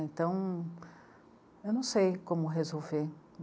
Então, eu não sei como resolver.